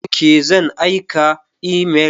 Ok, zan aika imel.